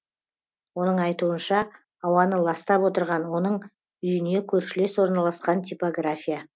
оның айтуынша ауаны ластап отырған оның үйіне көршілес орналасқан типография